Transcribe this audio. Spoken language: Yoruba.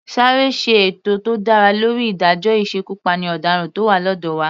Sáré ṣe ètò tó dára lórí ìdájọ́ ìsekupáni ọ̀daràn tó wà lọ́dọ̀ wa.